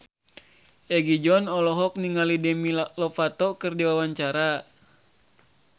Egi John olohok ningali Demi Lovato keur diwawancara